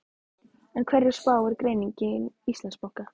En hverju spáir greining Íslandsbanka?